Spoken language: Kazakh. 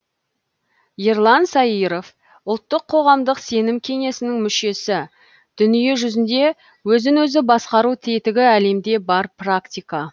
ерлан саиыров ұлттық қоғамдық сенім кеңесінің мүшесі дүниежүзінде өзін өзі басқару тетігі әлемде бар практика